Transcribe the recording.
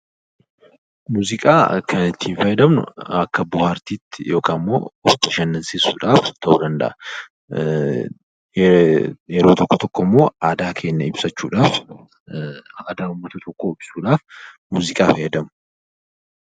Muuziqaa kan nuti itti fayyadamnu akka bohaartiitti yookaan immoo of bashannansiisuudhaaf ta'uu ni danda’a. Yeroo tokko tokko immoo aadaa keenya ibsachuudhaaf, aadaa uummata tokkoo ibsuudhaaf muuziqaa fayyadamu.